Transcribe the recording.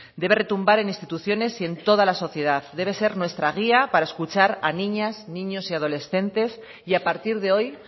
debe retumbar en instituciones y en toda la sociedad debe ser nuestra guía para escuchar a niñas niños y adolescentes y a partir de hoy